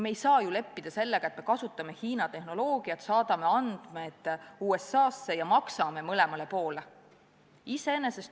Me ei saa ju leppida sellega, et me kasutame Hiina tehnoloogiat, saadame andmeid USA-sse ja maksame mõlemale poole.